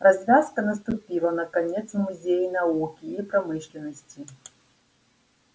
развязка наступила наконец в музее науки и промышленности